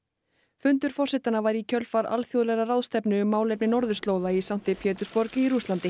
fundur forsetanna var í kjölfar alþjóðlegrar ráðstefnu um málefni norðurslóða í sankti Pétursborg í Rússlandi